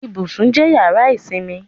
Ibùsùn jẹ́ yàrá ìsinmi